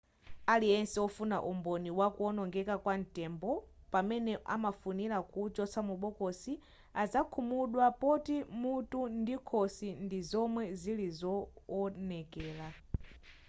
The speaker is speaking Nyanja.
aliyense wofuna umboni wa kuonongeka kwa ntembo pamene amafunira kuuchotsa mu bokosi azakhumudwa poti mutu ndi khosi ndi zomwe zili zoonekela